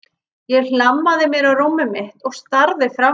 Ég hlammaði mér á rúmið mitt og starði fram fyrir mig.